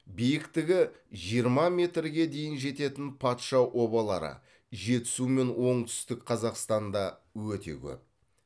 биіктігі жиырма метрге дейін жететін патша обалары жетісу мен оңтүстік қазақстанда өте көп